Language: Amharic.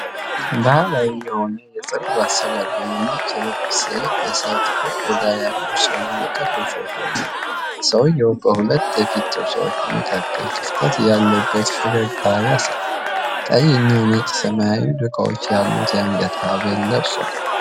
ባሕላዊ የሆነ የፀጉር አሠራር እና ነጭ ልብስ የለበሰ፣ ጥቁር ቆዳ ያለው ሰው የቅርብ ፎቶ ነው። ሰውዬው በሁለቱ የፊት ጥርሶች መካከል ክፍተት ያለበት ፈገግታ ያሳያል። ቀይ፣ ነጭና ሰማያዊ ዶቃዎች ያሉት የአንገት ሐብል ለብሷል።